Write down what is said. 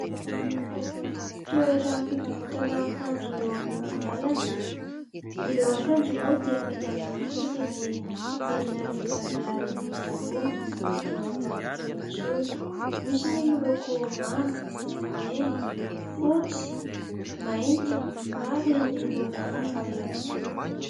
Toeram-pivarotana akanjo eo amoron-dalana, ireo akanjo moa dia amidy amin'ny vidiny enina arivo ariary daholo tsy hiadiana varotra intsony ; misy ny miloko manga, mena, fotsy, mainty ary ny loko hafa ihany koa.